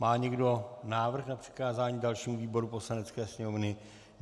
Má někdo návrh na přikázání dalším výborům Poslanecké sněmovny?